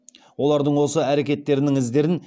олардың осы әрекеттерінің іздерін